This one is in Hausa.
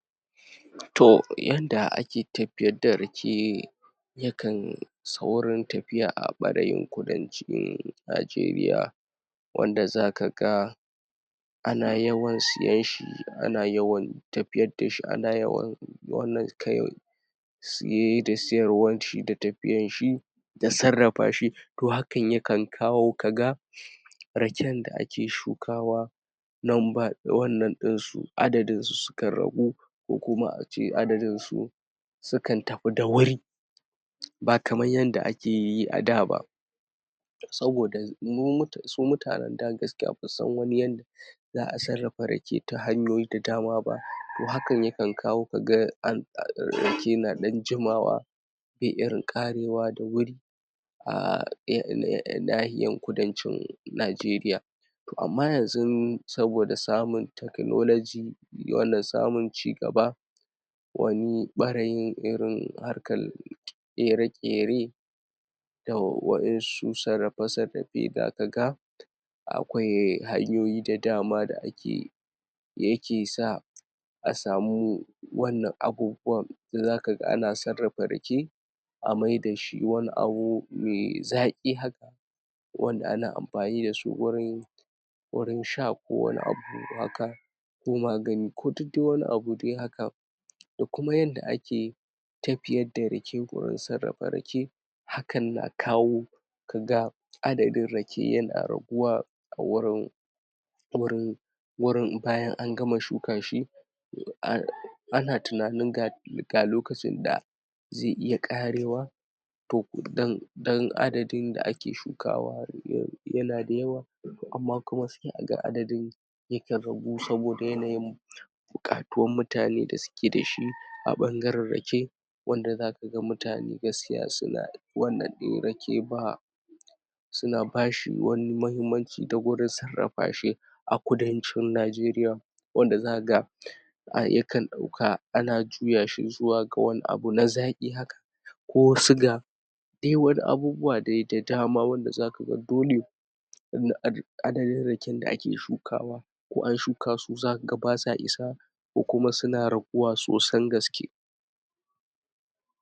To, yanda ake tafiyar da rake, yakan saurin tafiya a ɓarayin kudancin Najeriya, wanda zaka ga ana yawan siyen shi, ana yawan tafiyad dashi, siye da siyarwan shi da tafiyan shi, da sarrafa shi. To, hakan yakan kawo kaga raken da ake shukawa, adadin su sukan ragu, ko kuma a ce adadin su sukan tafi da wuri, ba kaman yanda akeyi a daː ba. Saboda su mutanen daː gaskiya basu san wani yanda za a sarrafa ta hanyoyi da dama ba, to hakan yikan kawo kaga rage na ɗan jimawa ba be irin ƙarewa da wuri, a nahiyan kudancin Najeriya. To, amma yanzun saboda samun teknologi, wannan samun cigaba, wani ɓarayin irin harkan ƙere-ƙere, da wa'insu sarrafe-sarrafe da aka ga akwai hanyoyi da dama da akeyi, yake sa a samu wannan abubuwan da zaka ga ana sarrafa rake, a maidashi wani abu mai tsaƙi haka, wanda ana amfani dasu wurin wurin sha, ko wani abu haka, ko magani, ko dud dai wani abu dai haka. Da kuma yanda ake tafiyar da rake, gurin sarrafa rake, hakan na kawo kaga adadin rake yana raguwa, a wurin wurin wurin bayan an gama shuka shi, ana tunanin ga ga lokacin da ze iya ƙarewa, to dan adadin da ake shukawa yana da yawa, amma kuma sai a ga adadin yikan ragu, saboda yanayin buƙatuwan mutane da suke da shi a ɓangaren rake, wanda zaka ga mutane gaskiya suna wannan ɗin rake, ba suna bashi wani mahimmanci da gwada sarrafa shi, a kudancin Najeriya, wanda zaka ga yakan ɗauka, ana juya shi zuwa wani abu na zaƙi haka, ko suga, dai wani abubuwa dai da dama, wanda zaka ga dole adadin raken da ake shukawa, ko an shuka su, zaka ga basa isa, ko kuma suna raguwa sosan gaske.